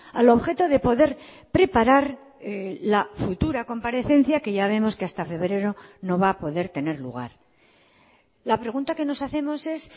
al objeto de poder preparar la futura comparecencia que ya vemos que hasta febrero no va a poder tener lugar la pregunta que nos hacemos es